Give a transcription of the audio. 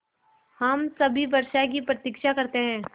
हम सभी वर्षा की प्रतीक्षा करते हैं